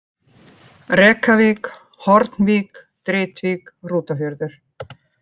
Rekavík, Hornvík, Dritvík, Hrútafjörður